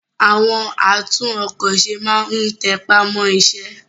àwọn àtún-ọkọ̀-se má n tẹpá mọ́ iṣẹ́